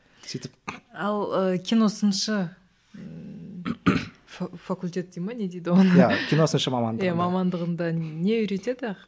сөйтіп ал ыыы кино сыншы факультет дей ме не дейді оған киносыншы мамандығы иә мамандығында не үйретеді